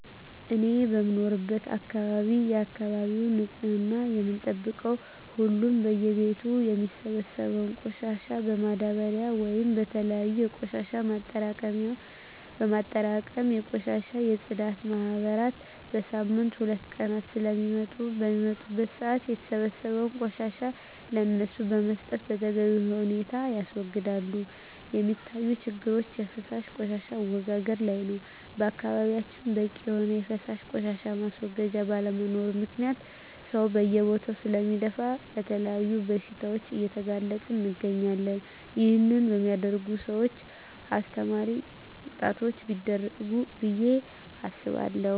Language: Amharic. እኔ በምኖርበት አካባቢ የአካባቢውን ንፅህና የምንጠብቀው ሁሉም በየ ቤቱ የሚሰበሰበውን ቆሻሻ በማዳበርያ ወይም በተለያዩ የቆሻሻ ማጠራቀሚያ በማጠራቀም የቆሻሻ የፅዳት ማህበራት በሳምንት ሁለት ቀናት ስለሚመጡ በሚመጡበት ሰአት የተሰበሰበውን ቆሻሻ ለነሱ በመስጠት በተገቢ ሁኔታ ያስወግዳሉ። የሚታዪ ችግሮች የፈሳሽ ቆሻሻ አወጋገድ ላይ ነው በአካባቢያችን በቂ የሆነ የፈሳሽ ቆሻሻ ማስወገጃ ባለመኖሩ ምክንያት ሰው በየቦታው ስለሚደፍ ለተለያዩ በሽታዎች እየተጋለጠን እንገኛለን ይህን በሚያደርጉ ሰውች አስተማሪ ቅጣቶች ቢደረጉ ብየ አስባለሁ።